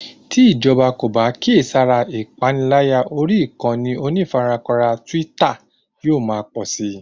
Tí ìjọba kò bá kíyèsára ìpaniláyà orí ìkànnì onífarakínra twitter yóò ma pọ̀si